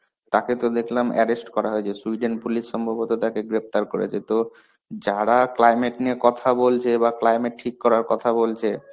তাকে তো দেখলাম arrest করা হয়েছে sweden police সম্ভবত তাকে গ্রেপ্তার করেছে. তো, যারা climate নিয়ে কথা বলছে বা climate ঠিক করার কথা বলছে,